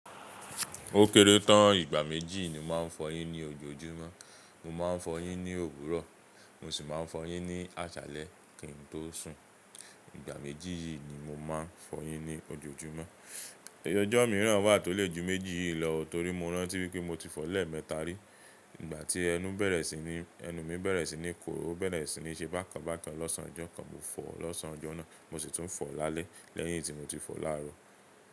Ó kéré tán, ìgbà méjì ni màá fọyín ní ojoojúmọ́. Mo máa ń fọyín ní òwúrọ̀, mo sì máa ń fọyín ní àṣálẹ́ kí n tó sùn. Ìgbà méjì yìí ni mo máa ń fọyín ní ojoojúmọ́. Ẹyọjọ́ mìíràn wà tó lè ju méjì yìí lọ torí mo rántí wípé mo ti fọ lẹ́ẹ̀mẹta rí. Ìgbà tí ẹnu bẹ̀rẹ̀ sí ní, ẹnu mi bẹ̀rẹ̀ sí ní korò, ó bẹ̀rẹ̀ sí ní ṣe bákan bákan lọ́ọ̀sán ọjọ́ kan, mo fọ̀ọ́ lọ́ọ̀sán ọjọ́ náà, mo sì tún fọ̀ọ́ lálẹ́ lẹ́yìn tí mo ti fọ̀ọ́ láàárọ̀.